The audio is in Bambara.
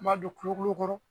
N b'a don kulokulo kɔrɔ.